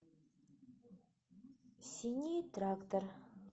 синий трактор